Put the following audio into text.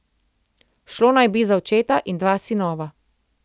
Šlo naj bi za očeta in dva sinova.